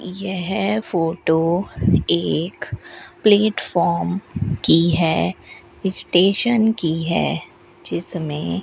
यह फोटो एक प्लेटफॉर्म की है स्टेशन की है जिसमें --